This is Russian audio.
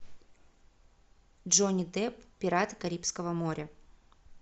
джонни депп пираты карибского моря